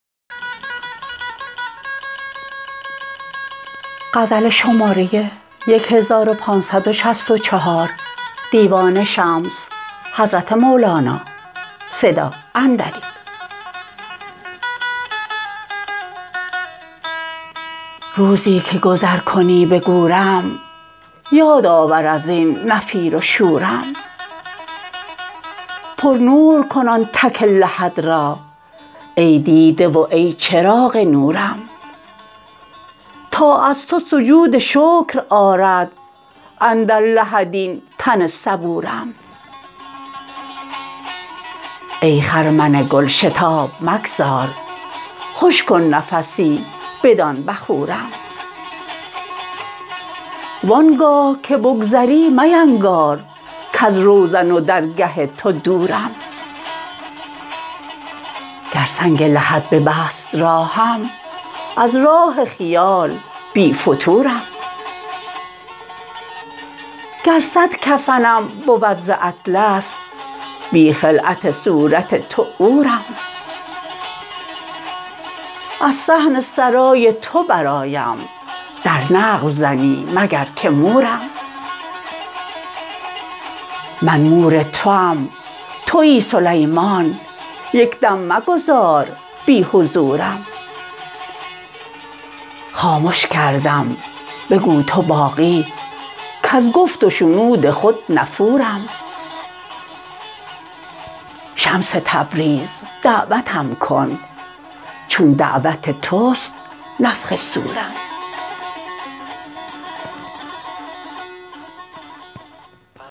روزی که گذر کنی به گورم یاد آور از این نفیر و شورم پرنور کن آن تک لحد را ای دیده و ای چراغ نورم تا از تو سجود شکر آرد اندر لحد این تن صبورم ای خرمن گل شتاب مگذار خوش کن نفسی بدان بخورم وان گاه که بگذری مینگار کز روزن و درگه تو دورم گر سنگ لحد ببست راهم از راه خیال بی فتورم گر صد کفنم بود ز اطلس بی خلعت صورت تو عورم از صحن سرای تو برآیم در نقب زنی مگر که مورم من مور توام توی سلیمان یک دم مگذار بی حضورم خامش کردم بگو تو باقی کز گفت و شنود خود نفورم شمس تبریز دعوتم کن چون دعوت توست نفخ صورم